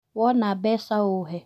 Wona mbeca ũhe